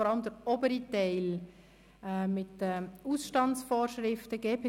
Vor allem ist der obere Teil mit den Ausstandsvorschriften genannt worden.